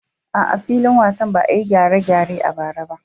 A'a, filin wasan ba a yi gyare-gyare a bara ba.